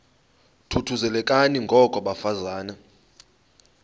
thuthuzelekani ngoko bafazana